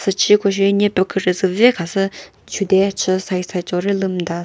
uchi koshe nepü kükre züve khasü chude chü side side cho ri lümta sa--